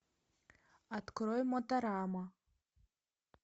открой моторама